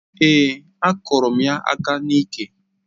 Èé, akụrụ m ya aka n'iké